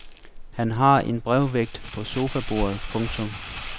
Han har en brevvægt på sofabordet. punktum